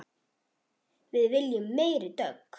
Við viljum meiri dögg!